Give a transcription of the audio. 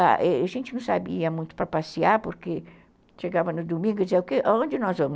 A gente não sabia muito para passear, porque chegava no domingo e dizia, onde nós vamos?